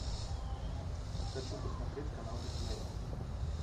хочу посмотреть канал дисней